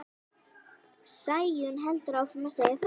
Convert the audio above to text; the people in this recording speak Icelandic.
Sæunn heldur áfram að segja frá.